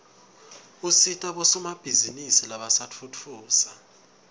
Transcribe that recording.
usita bosomabhizinisi labasafufusa